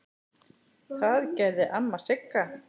Það gerði amma Sigga.